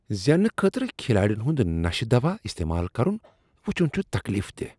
زیننہٕ خٲطرٕ کھلاڈین ہُند نشہ دوا استعمال کرن وٗچھُن چھ تکلیف دہ۔